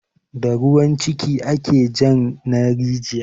Da ruwan ciki ake jan na rijiya